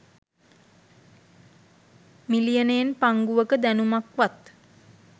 මිලියනයෙන් පංගුවක දැනුමක්වත්